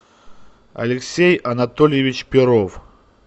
алексей анатольевич перов